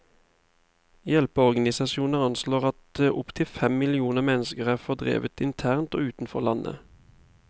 Hjelpeorganisasjoner anslår at opp til fem millioner mennesker er fordrevet internt og utenfor landet.